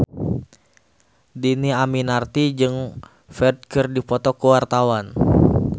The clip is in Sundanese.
Dhini Aminarti jeung Ferdge keur dipoto ku wartawan